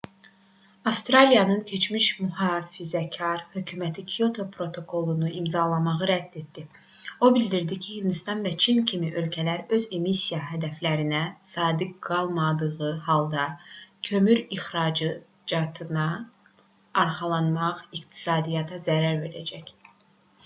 avstraliyanın keçmiş mühafizəkar hökuməti kyoto protokolunu imzalamağı rədd etdi o bildirdi ki hindistan və çin kimi ölkələr öz emissiya hədəflərinə sadiq qalmadığı halda kömür ixracatına arxalanmaq iqtisadiyyata zərər verəcək